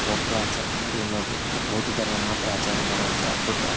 ಒಬ್ರು ಆಚರಣೆ ಮಾಡಿ ಇನ್ನೊಬ್ರು ಬಿಟ್ಟರೆ ಬೌದ್ಧ ಧರ್ಮ ಮಾತ್ರ ಆಚರಣೆ ಮಾಡುವಂತಹ ಬುದ್ಧ.